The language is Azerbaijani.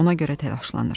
Ona görə təlaşlanmış.